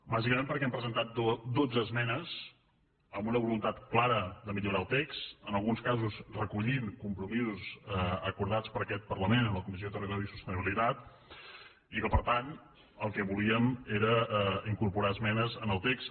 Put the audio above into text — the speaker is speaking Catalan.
bàsicament perquè hem presentat dotze esmenes amb una voluntat clara de millorar el text en alguns casos recollint compromisos acordats per aquest parlament en la comissió de territori i sostenibilitat i que per tant el que volíem era incorporar esmenes en el text